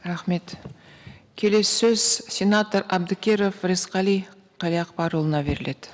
рахмет келесі сөз сенатор әбдікеров рысқали қалиақпарұлына беріледі